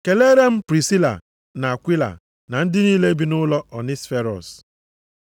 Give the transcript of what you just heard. Keleere m Prisila na Akwila na ndị niile bi nʼụlọ Onisiferọs.